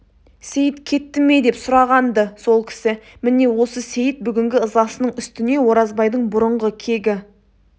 сейіт кетті ме деп сұраған-ды сол кісі міне осы сейіт бүгінгі ызасының үстіне оразбайдың бұрынғы кегі